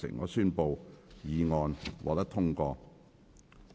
我宣布議案獲得通過。